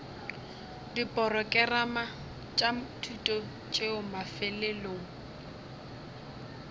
diporokerama tša thuto tšeo mafelelong